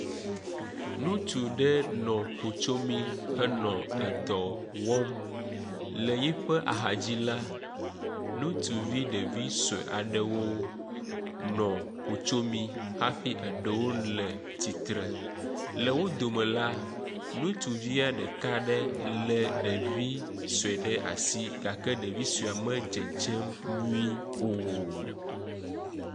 Ŋutsu ɖe nɔ klotsomi henɔ edɔ wɔm le yi ƒe axa dzi la, ŋutsuvi ɖevi sue aɖewo nɔ klotsomi hafi eɖewo le tsitre. Le wo dome la, ŋutsuvia ɖeka lé ɖevi sue ɖe asi gake ɖevi sue la medzedzem nyuie o.